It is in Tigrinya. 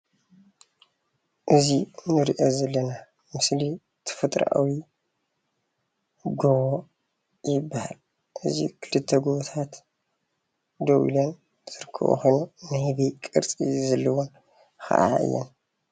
እዚ እንሪኦ ዘለና ምስሊ ተፈጥራዊ ጎቦ ይበሃል እዚ ክልተ ጎቦታት ደው ኢለን ዝርከበኦ ኮይኑ ናይ ህበይ ቅርፂ ዘለወን ከዓ እየን።